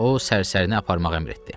O, sərsərini aparmaq əmr etdi.